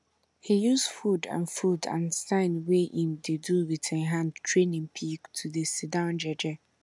he use food and food and sign wey em dey do with em hand train em pig to dey sit down jeje